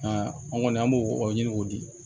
an kɔni an b'o o ɲini k'o di